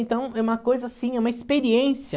Então, é uma coisa assim, é uma experiência.